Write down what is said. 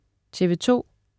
TV2: